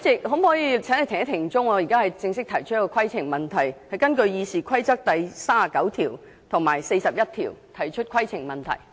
我現在正式提出規程問題，根據《議事規則》第39及41條提出規程問題。